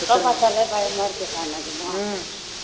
book அ பாத்தாலே பயமா இருக்கு அக்கா எனக்குல்லாம்